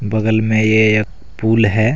बगल में ये एक पूल है।